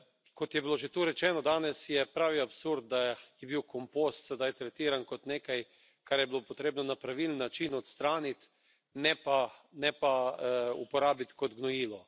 Kot je bilo že tu rečeno danes, je pravi absurd, da je bil kompost sedaj tretiran kot nekaj, kar je bilo potrebno na pravilen način odstraniti, ne pa uporabiti kot gnojilo.